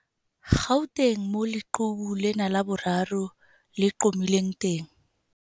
Gauteng, moo leqhubu lena la boraro le qhomileng teng.